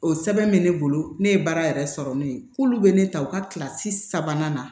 O sɛbɛn bɛ ne bolo ne ye baara yɛrɛ sɔrɔ ne ye k'olu bɛ ne ta u ka kilasi sabanan na